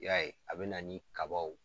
Y'a ye a bɛ na ni kabaw